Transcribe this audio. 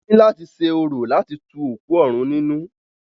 Wọ́n ní láti ṣe orò láti tu òkú òrun nínú.